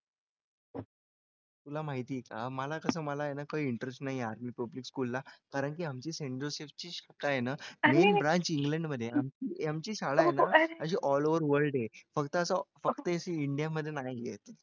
तुला माहिती आहे का मला कसं मला काही interest नाही public school ला कारण की आमचे शाखा आहे ना नवीन branch england मध्ये आहे आमची शाळा आहे ना अशी all over आहे फक्त असं फक्त अशी india मध्ये नाही आहे.